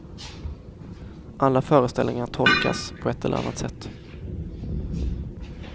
Alla föreställningar tolkas, på ett eller annat sätt.